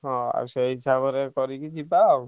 ହଁ ଆଉ ସେଇ ହିସାବ ରେ କରିକି ଯିବା ଆଉ।